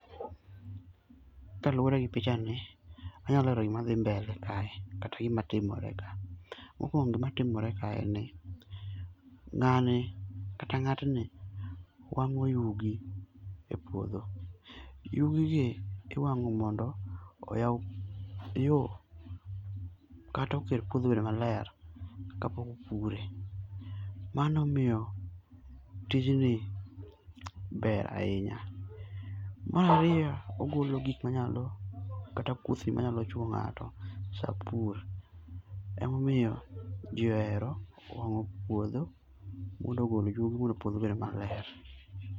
Kaluwore gi pichani, anyalo lero gima dhi mbele kae kata gima timore ka. Mokuongo gima timore ka en ni ng'ani kata ng'atni wang'o yugi epuodho. Yugi gi iwang'o mondo oyaw yo, kata oket puodho obed maler kapok opure. Mano emomiyo tijni ber ahinya. Mar ariyo ogolo gik manyalo kata kuthni manyalo chuo ng'ato sapur. Emomiyo ji ohero wang'o puodho mondo ogol yugi mondo puodho obed maler.